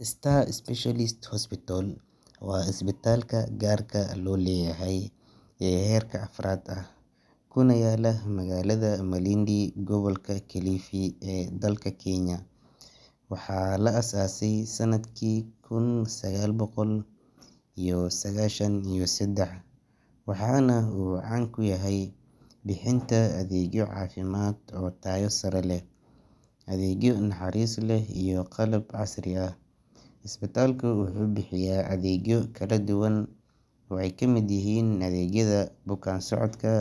Star Specialist Hospital waa isbitaalka gaarka loo leeyahay ee heerka afraad ah, kuna yaalla magaalada Malindi, gobolka Kilifi ee dalka Kenya. Waxaa la aasaasay sannadkii kun sagaal boqol iyo sagaashan iyo saddex, waxaana uu caan ku yahay bixinta adeegyo caafimaad oo tayo sare leh, adeegyo naxariis leh, iyo qalab casri ah. Isbitaalku wuxuu bixiyaa adeegyo kala duwan oo ay ka mid yihiin adeegyada bukaan-socodka,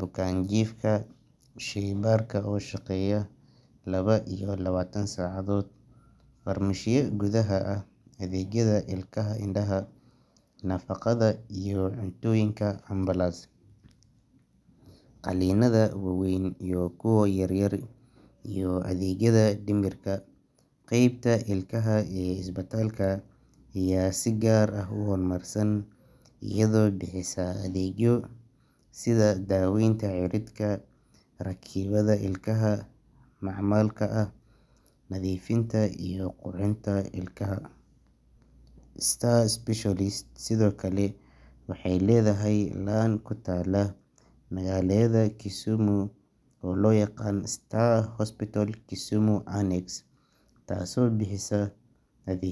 bukaan-jiifka, shaybaarka oo shaqeeya laba iyo labaatan saacadood, farmashiye gudaha ah, adeegyada ilkaha, indhaha, nafaqada iyo cuntooyinka, ambalaas, qalliinnada waaweyn iyo kuwa yaryar, iyo adeegyada dhimirka. Qaybta ilkaha ee isbitaalka ayaa si gaar ah u horumarsan, iyadoo bixisa adeegyo sida daaweynta cirridka, rakibidda ilkaha macmalka ah, nadiifinta, iyo qurxinta ilkaha.  Star Specialist Hospital sidoo kale waxay leedahay laan ku taalla magaalada Kisumu, oo loo yaqaan Star Hospital Kisumu Annex, taasoo bixisa ade.